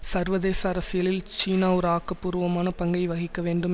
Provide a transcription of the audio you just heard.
சர்வதேச அரசியலில் சீனா ஒரு ஆக்க பூர்வமான பங்கை வகிக்க வேண்டும்